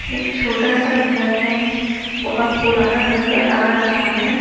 एक छोटा सा घर है बहोत पुराना नजर आ रहा है।